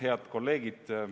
Head kolleegid!